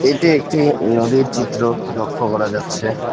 এটি একটি নদীর চিত্র লক্ষ্য করা যাচ্ছে।